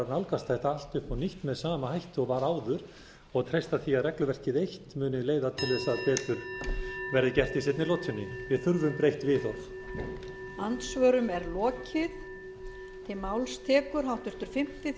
nálgast þetta allt upp á nýtt með sama hætti og var áður og treysta því að regluverkið eitt muni leiða til þess að betur verði gert í seinni lotunni við þurfum breytt viðhorf